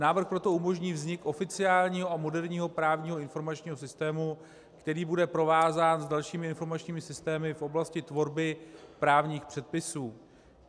Návrh proto umožní vznik oficiálního a moderního právního informačního systému, který bude provázán s dalšími informačními systémy v oblasti tvorby právních předpisů.